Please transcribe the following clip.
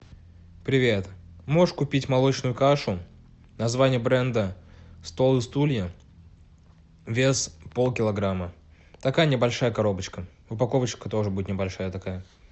привет можешь купить молочную кашу название бренда стол и стулья вес полкилограмма такая небольшая коробочка упаковочка тоже будет небольшая такая